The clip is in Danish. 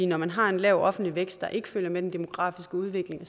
når man har en lav offentlig vækst der ikke følger med den demografiske udvikling